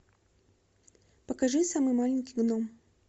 покажи самый маленький гном